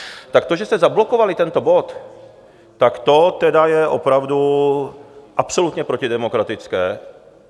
Tak to, že jste zablokovali tento bod, tak to tedy je opravdu absolutně protidemokratické.